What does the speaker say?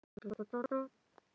Dimmu